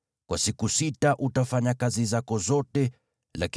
Kwa siku sita utafanya kazi na kutenda shughuli zako zote,